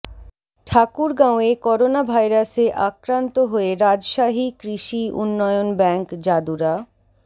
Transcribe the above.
ঠাকুরগাঁওয়ে করোনাভাইরাসে আক্রান্ত হয়ে রাজশাহী কৃষি উন্নয়ন ব্যাংক যাদুরা